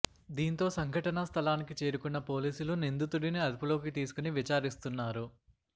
దీంతో సంఘటనా స్థలానికి చేరుకున్న పోలీసులు నిందితుడిని అదుపులోకి తీసుకుని విచారిస్తున్నారు